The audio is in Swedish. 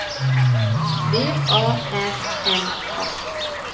V A R N A